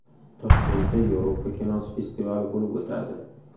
Toshkentda Yevropa kinosi festivali bo‘lib o‘tadi.